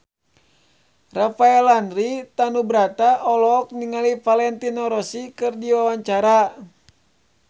Rafael Landry Tanubrata olohok ningali Valentino Rossi keur diwawancara